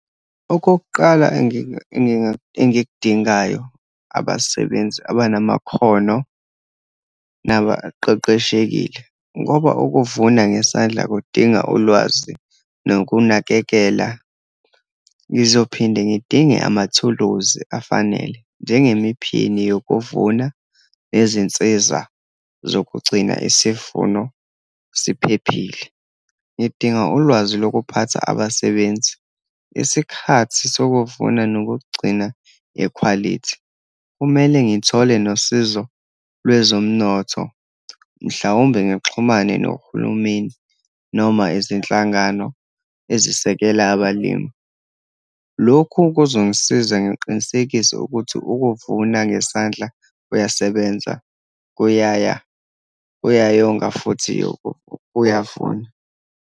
Okokuqala engikudingayo, abasebenzi abanamakhono nabaqeqeshekile, ngoba ukuvuna ngesandla kudinga ulwazi nokunakekela. Ngizophinde ngidinge amathuluzi afanele, njengemiphini yokuvuna, nezinsiza zokugcina isivuno siphephile. Ngidinga ulwazi lokuphatha abasebenzi, isikhathi sokuvuna nokukugcina ekhwalithi. Kumele ngithole nosizo lwezomnotho, mhlawumbe ngixhumane nohulumeni, noma izinhlangano ezisekela abalimi. Lokhu kuzongisiza ngiqinisekise ukuthi ukuvuna ngesandla kuyasebenza kuyaya, kuyayonga futhi kuyavuna.